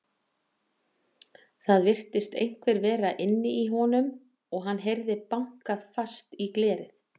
Það virtist einhver vera inni í honum og hann heyrði bankað fast í glerið.